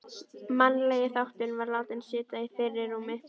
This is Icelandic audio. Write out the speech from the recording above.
Mannlegi þátturinn var látinn sitja í fyrirrúmi.